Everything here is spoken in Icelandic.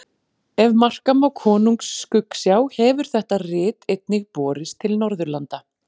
Ef marka má Konungs skuggsjá hefur þetta rit einnig borist til Norðurlanda.